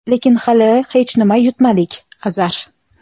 lekin hali hech nima yutmadik — Azar;.